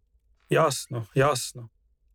Jasno, jasno.